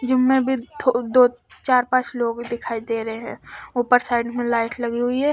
Gym में अभी थो दो चार पांच लोग दिखाई दे रहे है उपर साइड में लाइट लगी हुई है ।